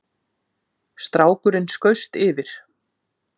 Strákurinn skaust yfir